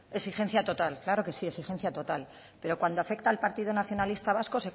exigencia total claro que sí exigencia total pero cuando afecta al partido nacionalista vasco